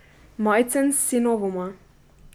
Majcen s sinovoma.